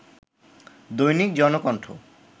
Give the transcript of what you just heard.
Dainik Janakantha